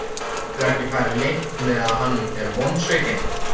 Getur ekki farið leynt með að hann er vonsvikinn.